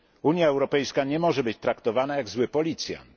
Unia Europejska nie może być traktowana jak zły policjant.